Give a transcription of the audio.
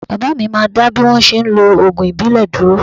Baba mi máa dá bí wọ́n ṣe ń lo ògùn ìbílẹ̀ dúró